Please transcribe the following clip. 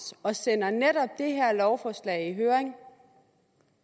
og sender netop det her lovforslag i høring